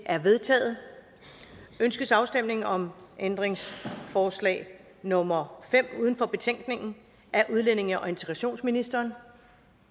er vedtaget ønskes afstemning om ændringsforslag nummer fem uden for betænkningen af udlændinge og integrationsministeren